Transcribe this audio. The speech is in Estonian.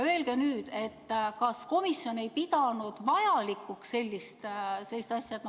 Öelge nüüd, kas komisjon ei pidanud sellist asja vajalikuks?